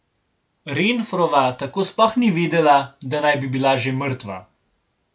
Renfrova tako sploh ni vedela, da naj bi bila že mrtva.